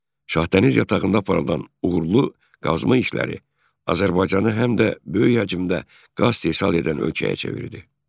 Şahdəniz yatağında aparılan uğurlu qazma işləri Azərbaycanı həm də böyük həcmdə qaz istehsal edən ölkəyə çevirdi.